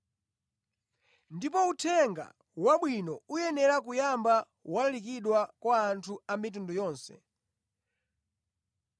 Ndipo Uthenga Wabwino uyenera kuyamba walalikidwa kwa anthu a mitundu yonse.